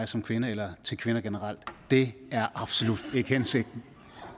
som kvinde eller til kvinder generelt det er absolut ikke hensigten